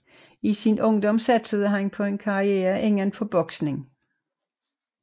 I sin ungdom satsede han på en karriere inden for boksning